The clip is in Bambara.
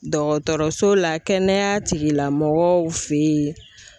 Dɔgɔtɔrɔso la kɛnɛya tigilamɔgɔw fɛ yen.